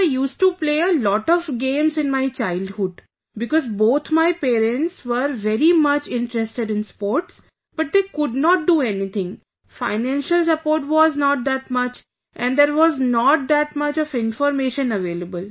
So I used to play a lot of games in my childhood, because both my parents were very much interested in sports, but they could not do anything, financial support was not that much and there was not that much of information available